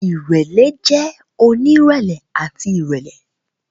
Irẹlẹ jẹ onirẹlẹ ati irẹlẹ.